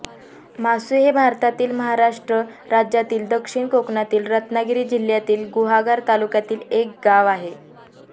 मासू हे भारतातील महाराष्ट्र राज्यातील दक्षिण कोकणातील रत्नागिरी जिल्ह्यातील गुहागर तालुक्यातील एक गाव आहे